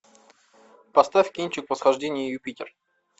поставь кинчик восхождение юпитер